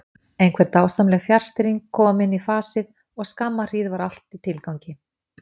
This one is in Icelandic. Einhver dásamleg fjarstýring komin í fasið og skamma hríð var allt í tilgangi.